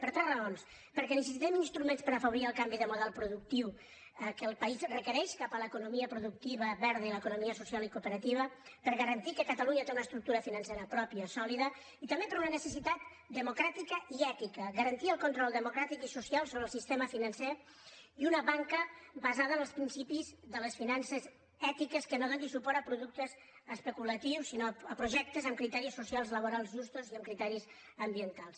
per tres raons perquè necessitem instruments per afavorir el canvi de model productiu que el país requereix cap a l’economia productiva verda i l’economia social i cooperativa per garantir que catalunya té una estructura financera pròpia sòlida i també per una necessitat democràtica i ètica garantir el control democràtic i social sobre el sistema financer i una banca basada en els principis de les finances ètiques que no doni suport a productes especulatius sinó a projectes amb criteris socials i laborals justos i amb criteris ambientals